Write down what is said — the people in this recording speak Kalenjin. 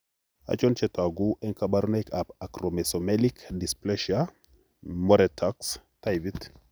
Achon chetogu ak kaborunoik ab Acromesomelic dysplasia Moretaux taipit?